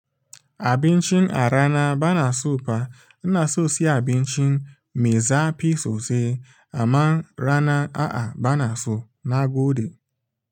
Abincin arana bana sopa, ina so siya abincin mai zafi sosai amma rana a'a bana so na gode.